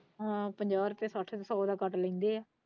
ਹਾਂ ਪੰਜਾਹ ਰੁਪਏ ਕਹਿ ਕੇ ਸੋ ਦਾ ਕੱਟ ਲੈਂਦੇ ਹੈ।